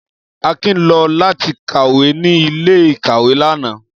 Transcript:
Akin lọ lati kawe ni ile-ìkàwé lana.